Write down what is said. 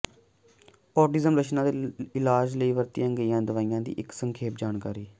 autism ਲੱਛਣਾਂ ਦੇ ਇਲਾਜ ਲਈ ਵਰਤੀਆਂ ਗਈਆਂ ਦਵਾਈਆਂ ਦੀ ਇੱਕ ਸੰਖੇਪ ਜਾਣਕਾਰੀ